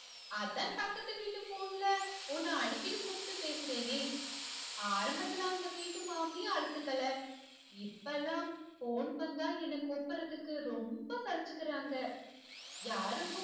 அதான் பக்கத்து வீட்டு phone ல உன்ன அடிக்கடி கூப்டு பேசுறனே ஆரம்பத்திலே அந்த வீட்டு மாமி அலுத்துக்கல இப்பலாம் phone வந்தா என்ன கூப்பட்றதுக்கு ரொம்ப சலிச்சுக்கிறாங்க யாருக்கும்